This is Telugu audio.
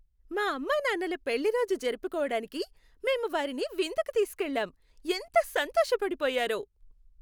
మా అమ్మానాన్నల పెళ్లిరోజు జరుపుకోడానికి మేము వారిని విందుకి తీసుకెళ్ళాం. ఎంత సంతోషపడిపోయారో!